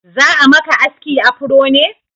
Za'a maka aski afro ne?